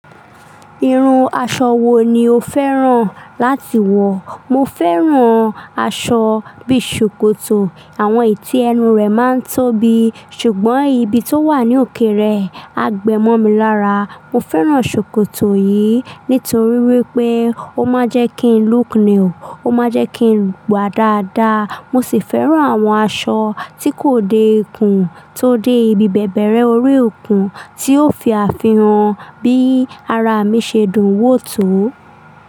Irun aṣọ wo ni o fẹ́ràn láti wọ̀? Mo fẹ́ràn aṣọ bí ṣòkòtò. Àwọn ì tí ẹnu rẹ̀ máa ń tóbi, ṣùgbọ́n ibi tó wà ní òkèèrè á gbẹ mọ́ mi lára. Mo fẹ́ràn ṣòkòtò yìí nítorí wípé ó máa ń jẹ́ kí ń look new, ó máa jẹ́ kí n wà dáadáa. Mo sì fẹ́ràn àwọn aṣọ tí kò dékun tó dé ibi bẹ̀bẹ̀rẹ orí òkun tí yóò fi àfihàn bí ara mi ṣe dùn wò tó.